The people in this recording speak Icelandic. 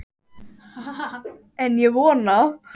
En ég vona það.